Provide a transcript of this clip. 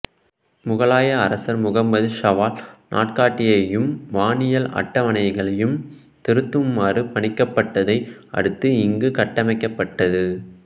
முகலாய அரசர் முகம்மது ஷாவால் நாட்காட்டியையும் வானியல் அட்டவணைகளையும் திருத்துமாறு பணிக்கப்பட்டதை அடுத்து இங்கு கட்டமைக்கப்பட்டது